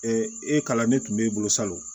e kalan ne tun b'e bolo salon